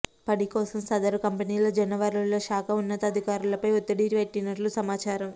పని కోసం సదరు కంపెనీ జలవనరుల శాఖ ఉన్నతాధికారులపై ఒత్తిడి పెట్టినట్లు సమాచారం